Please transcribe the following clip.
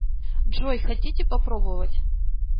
джой хотите попробовать